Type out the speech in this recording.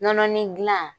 Nɔnɔnin gilan